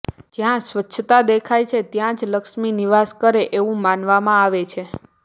જ્યા સ્વચ્છતા દેખાય છે ત્યા જ લક્ષ્મી નિવાસ કરે એવું માનવામાં આવે છે